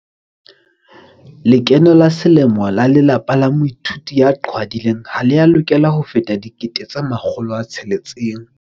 Lekeno la selemo la lelapa la moithuti ya qhwadileng ha le a lokela ho feta R600 000.